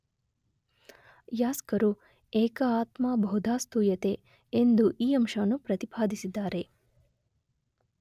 ಯಾಸ್ಕರು ಏಕ ಆತ್ಮಾ ಬಹುಧಾ ಸ್ತೂಯತೇ ಎಂದು ಈ ಅಂಶವನ್ನು ಪ್ರತಿಪಾದಿಸಿದ್ದಾರೆ.